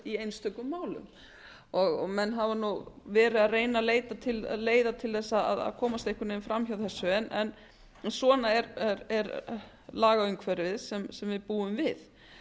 í einstökum málum menn hafa verið að reyna að leita leiða til að komast einhvern veginn fram hjá þessu en svona er lagaumhverfið sem við búum við